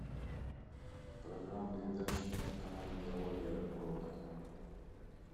программа передач на канале диалоги о рыбалке